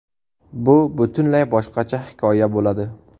Bu butunlay boshqacha hikoya bo‘ladi.